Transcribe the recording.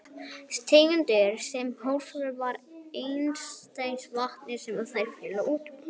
Tegundir steinda í holufyllingum fara einkum eftir hitastigi vatnsins, sem þær féllu út úr.